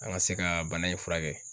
An ga se ka bana in furakɛ